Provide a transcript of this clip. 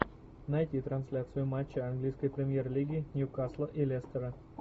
найти трансляцию матча английской премьер лиги ньюкасла и лестера